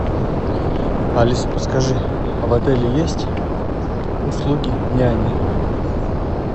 алиса подскажи в отеле есть услуги няни